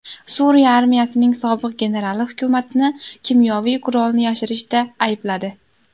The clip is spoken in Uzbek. Suriya armiyasining sobiq generali hukumatni kimyoviy qurolni yashirishda aybladi.